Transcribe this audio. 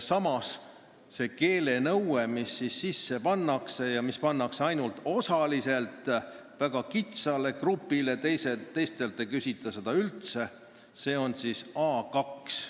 Samas see keelenõue, mis seadusesse sisse pannakse ja mis kehtestatakse ainult osaliselt, väga kitsale grupile, teistelt ei nõuta seda üldse, on A2.